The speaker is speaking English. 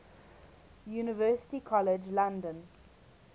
university college london